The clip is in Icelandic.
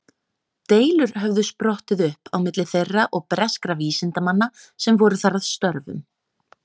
Deilur höfðu sprottið upp á milli þeirra og breskra vísindamanna sem voru þar að störfum.